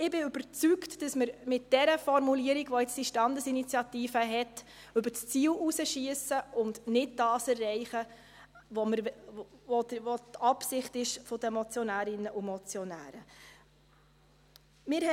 Ich bin überzeugt, dass wir mit der Formulierung, die diese Standesinitiative jetzt hat, über das Ziel hinausschiessen und nicht das erreichen, was die Absicht der Motionärinnen und Motionäre ist.